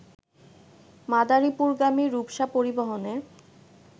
মাদারীপুরগামী রূপসা পরিবহনে